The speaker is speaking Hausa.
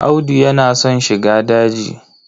Audu yana son shiga daji.